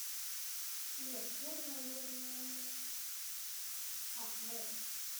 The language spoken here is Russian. и актер наверное ахмед